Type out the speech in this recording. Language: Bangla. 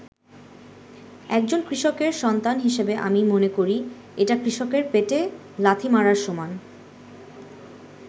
একজন কৃষকের সন্তান হিসেবে আমি মনে করি এটা কৃষকের পেটে লাথি মারার সমান”।